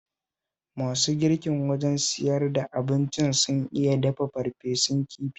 Masu girkin wajen siyar da abincin sun iya dafa farfesun kifi sosai